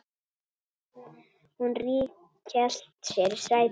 Hún ríghélt sér í sætið.